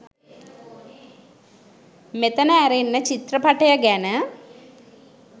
මෙතන ඇරෙන්න චිත්‍රපටය ගැන